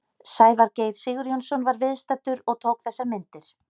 Sævar Geir Sigurjónsson var viðstaddur og tók þessar myndir.